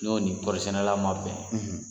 N'o nin kɔɔri sɛnɛ na man bɛn.